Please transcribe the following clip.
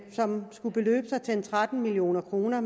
som skulle beløbe sig til cirka tretten million kroner